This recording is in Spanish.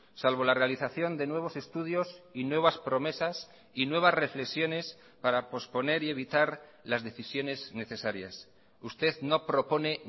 salvo la realización de nuevos estudios y nuevas promesas y nuevas reflexiones para posponer y evitar las decisiones necesarias usted no propone